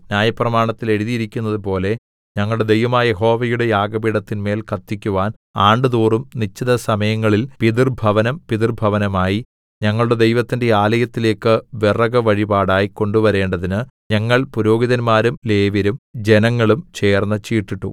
ന്യായപ്രമാണത്തിൽ എഴുതിയിരിക്കുന്നതുപോലെ ഞങ്ങളുടെ ദൈവമായ യഹോവയുടെ യാഗപീഠത്തിന്മേൽ കത്തിക്കുവാൻ ആണ്ടുതോറും നിശ്ചിത സമയങ്ങളിൽ പിതൃഭവനം പിതൃഭവനമായി ഞങ്ങളുടെ ദൈവത്തിന്റെ ആലയത്തിലേയ്ക്ക് വിറക് വഴിപാടായി കൊണ്ടുവരേണ്ടതിന് ഞങ്ങൾ പുരോഹിതന്മാരും ലേവ്യരും ജനങ്ങളും ചേർന്ന് ചീട്ടിട്ടു